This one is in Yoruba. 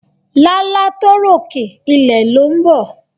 Lálá tó rókè, ilẹ̀ ló ń bọ̀.